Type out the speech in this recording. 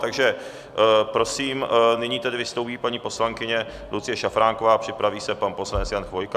Takže prosím, nyní tedy vystoupí paní poslankyně Lucie Šafránková a připraví se pan poslanec Jan Chvojka.